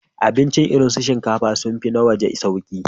Abincin gida irin su shinkafa sun fi na waje sauƙi.